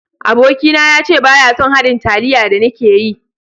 Aboki na ya ce baya son haɗin taliya da ni ke yi.